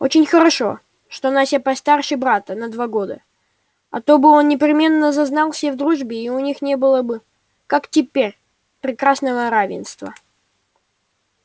очень хорошо что настя постарше брата на два года а то бы он непременно зазнался и в дружбе у них не было бы как теперь прекрасного равенства